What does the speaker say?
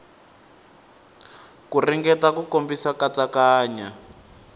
ku ringeta ku komisa katsakanya